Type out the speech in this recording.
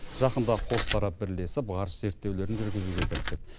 жақында қос тарап бірлесіп ғарыш зерттеулерін жүргізуге кірісіп